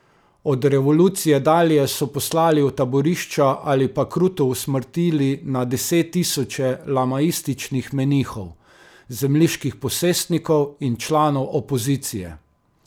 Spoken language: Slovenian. Od revolucije dalje so poslali v taborišča ali pa kruto usmrtili na deset tisoče lamaističnih menihov, zemljiških posestnikov in članov opozicije.